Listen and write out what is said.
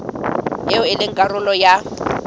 eo e leng karolo ya